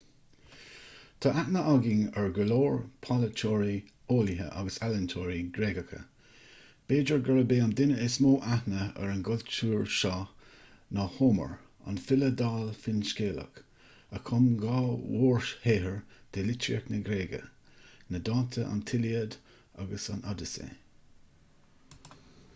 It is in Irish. tá aithne againn ar go leor polaiteoirí eolaithe agus ealaíontóirí gréagacha b'fhéidir gurb é an duine is mó aithne ar an gcultúr seo ná homer an file dall finscéalach a chum dhá mhórshaothar de litríocht na gréige na dánta an tíliad agus an odaisé